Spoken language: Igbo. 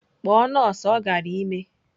Kpọọ nọọsụ ọ gara ime!